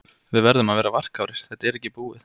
Við verðum að vera varkárir, þetta er ekki búið.